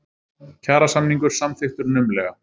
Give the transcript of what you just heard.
Kjarasamningur samþykktur naumlega